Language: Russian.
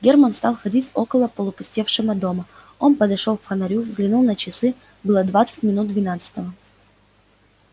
германн стал ходить около опустевшего дома он подошёл к фонарю взглянул на часы было двадцать минут двенадцатого